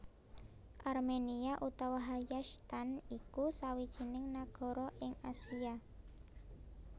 Arménia utawa Hayastan iku sawijining nagara ing Asia